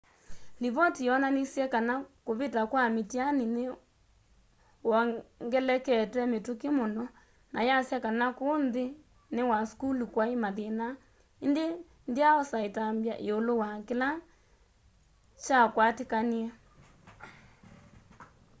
livoti yonanisye kana kuvita kwa mĩtianĩ nĩwongelekete mituki muno na yasya kana ku nthĩnĩ wa sukulu kwai mathĩna ĩndĩ ndyaosa ĩtambya ĩũlũ wa kĩla kyakwatĩkanie